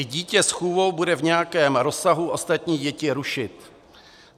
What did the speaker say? I dítě s chůvou bude v nějakém rozsahu ostatní děti rušit.